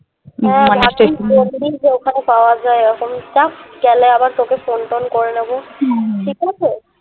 হ্যাঁ ওখানে পাওয়া যায় গেলে আবার তোকে phone টোন করে নেবো ঠিক আছে